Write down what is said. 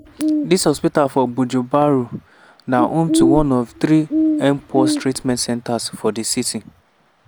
dis hospital for bujumbura na home to one of three mpox treatment centres for di city.